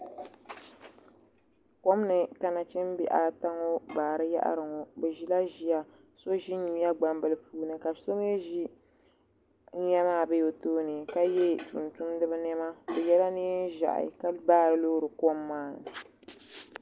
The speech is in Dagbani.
Komni ka nachimbihi ata ŋɔ baari yaɣari ŋɔ bɛ ʒila ʒiya so ʒi nyuya gbambila puuni ka so mee ʒi nyuya maa be tooni ka ye tumtumdiba niɛma bɛ yela niɛn'ʒehi ka baari loori kom maa.